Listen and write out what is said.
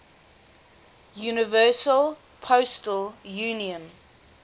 universal postal union